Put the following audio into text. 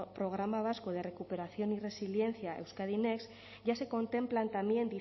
programa vasco de recuperación y resiliencia euskadi next ya se contemplan también